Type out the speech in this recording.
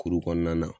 Kuru kɔnɔna na